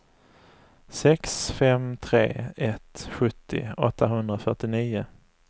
sex fem tre ett sjuttio åttahundrafyrtionio